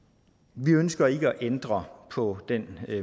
vi ønsker ikke at ændre på den